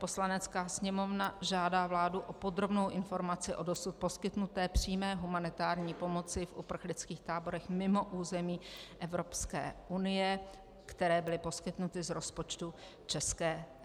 Poslanecká sněmovna žádá vládu o podrobnou informaci o dosud poskytnuté přímé humanitární pomoci v uprchlických táborech mimo území Evropské unie, které byly poskytnuty z rozpočtu ČR.